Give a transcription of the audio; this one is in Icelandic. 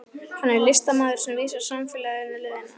Hann er listamaðurinn sem vísar samfélaginu leiðina.